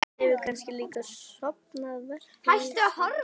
Hann hefur kannski líka stofnað verkalýðsríki?